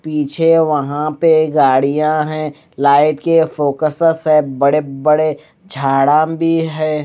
पीछे वहां पे गाड़ियां है लाइट के फोकसस है बड़े बड़े झाडा भी है।